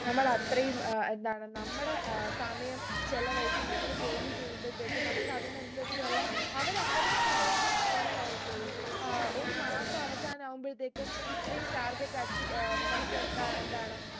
നമ്മളത്രയും ഏർ എന്താണ് നമ്മുടെ ഏർ സമയം ചിലവഴിച്ചു നമ്മൾ ജോലി ചെയ്യുമ്പൾത്തേക്ക് നമ്മുക്ക് അതിനനുസരിച്ചുള്ള അവര് അവരുടെ പുരോഗതി മാത്രമേ നോക്കുള്ളു ഏർ ഒരു മാസം അവസാനവുമ്പഴത്തേക്ക് ഇത്രയും target achie ഏർ നമുക്ക് ക എന്താണ്